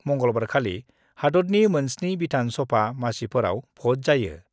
मंगलबारखालि हादतनि मोन 7 बिधान सभा मासिफोराव भट जायो।